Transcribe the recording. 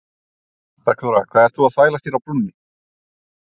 Bergþóra, hvað ert þú að þvælast hér á brúnni?